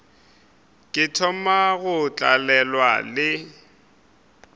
ke thoma go tlalelwa le